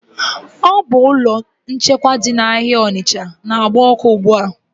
Ọ bu ụlọ nchekwa dị na áhiá Onicha n'agba ọkụ ugbua